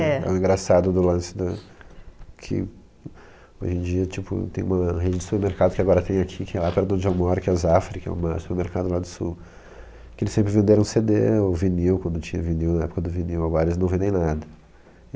É. É o engraçado do lance do... que, hoje em dia tipo, tem uma rede de supermercado que agora tem aqui, que é lá perto do John Moore, que é a Zafra, que é uma supermercado lá do sul, que eles sempre venderam ce de ou vinil, quando tinha vinil, na época do vinil, agora eles não vendem nada.